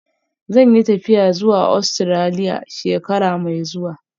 Zan yi tafiya zuwa Ostiraliya shekara mai zuwa